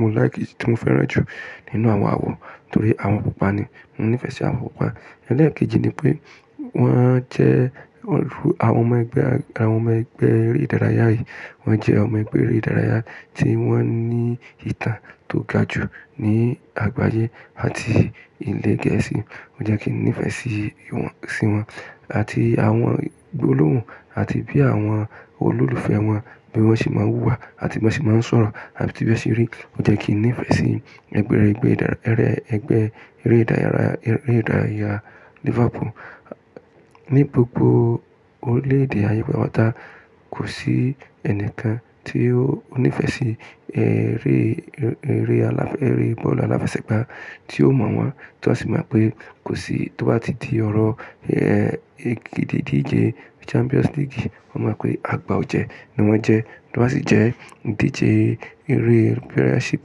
mo like, tí mo fẹ́ràn jù nínú àwọn àwọ̀ torí àwọn pupa ni. Mo nífẹ̀ẹ́ sí àwọ pupa. Ẹ̀lẹ́ẹ̀kejì ni pé wọ́n jẹ́ àwọn ọmọ ẹgbẹ́, àwọn ọmọ ẹgbẹ́ eré ìdárayá yìí wọ́n jẹ́ ọmọ ẹgbẹ́ eré ìdárayá tí wọ́n ní ìtàn tó ga jù ní àgbáyé àti ilẹ̀ Gẹ̀ẹ́sì. Ó jẹ́ kí n nífẹ̀ẹ́ sí wọn àti àwọn gbólóhùn àti bí àwọn olólùfẹ́ wọn bí wọ́n ṣe máa ń hùwà àti bí wọ́n ṣe máa ń sọ̀rọ̀ àti bí wọ́n ṣe rí gán. Ó jẹ́ kí n nífẹ̀ẹ́ sí ẹgbẹ́ eré ìdárayá Liverpool. Ni gbogbo orílẹ̀-èdè ayẹ pátápátá, kò sí ẹnìkan tí ó nífẹ̀ẹ́ sí eré, eré eré bọ́ọ̀lù aláfẹsẹ̀gbá tí ó mọ̀ wọ́n tó sì mọ̀ pé kò sí tó bá ti di ọ̀rọ̀ ìdíje Champions League, wọ́n mọ̀ pé àgbà ò jẹ́ ní wọ́n jẹ́. Tó bá sì jẹ́ ìdíje eré Premiership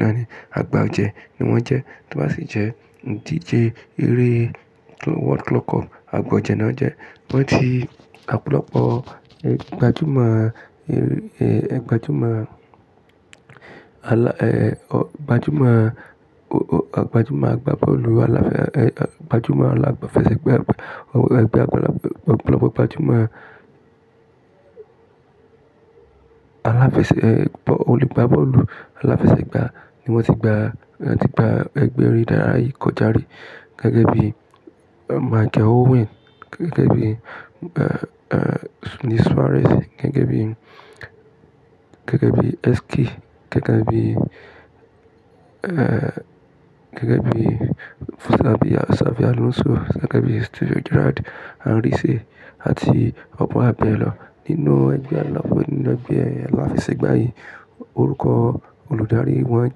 náà ni àgbà ò jẹ́ ní wọ́n jẹ́. Tó bá sì jẹ́ ìdíje eré World Club Cup, àgbà ò jẹ́ náà jẹ́. Wọ́n ti ọ̀pọ̀lọpọ̀ ìgbádùn máa, ìgbádùn máa àlà, ìgbádùn máa àgbà bọ́ọ̀lù aláfẹ̀, ìgbádùn máa aláfẹsẹ̀gbá, ìgbádùn ọ̀pọ̀lọpọ̀ ìgbádùn máa aláfẹ̀, olugba bọ́ọ̀lù aláfẹsẹ̀gbá ni wọ́n ti gba, ti gba ẹgbẹ́ eré ìdárayá yìí kọjá rí gẹ́gẹ́ bí Michael Owen, gẹ́gẹ́ bí Luis Suarez, gẹgẹ́ bí, gẹ́gẹ́ bí Sski, gẹgẹ́ bí, gẹ́gẹ́ bí Xabi Alonso, gẹ́gẹ́ bí Steven Gerrard, Henry C àti Ọpọ́lọ́pọ̀ ènìyàn nínú ẹgbẹ́ aláfẹ́, nínú ẹgbẹ́ aláfẹsẹ̀gbá yìí. Olùkọ́ olùdarí wọn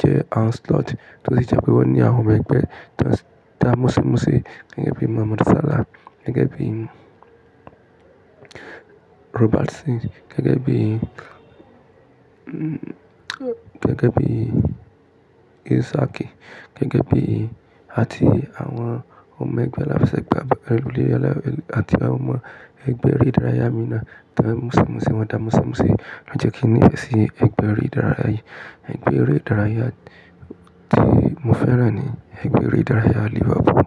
jẹ́ Ancelotti tó sì jẹ́ pé wọ́n ní àwọn ọmọ ẹgbẹ́ ta múṣe gẹ́gẹ́ bí Mohamed Salah, gẹ́gẹ́ bí Robertson, gẹ́gẹ́ bí, gẹ́gẹ́ bí Isaki, gẹ́gẹ́ bí àti àwọn ọmọ ẹgbẹ́ aláfẹsẹ̀gbá, àti àwọn ọmọ ẹgbẹ́ eré ìdárayá mìíràn ta múṣinmúṣin wọn. Ta múṣinmúṣin ló jẹ́ kí n nífẹ̀ẹ́ sí ẹgbẹ́ eré ìdárayá yìí. Ẹgbẹ́ eré ìdárayá tí mo fẹ́ràn ní ẹgbẹ́ eré ìdárayá Liverpool.